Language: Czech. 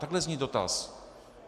Takhle zní dotaz.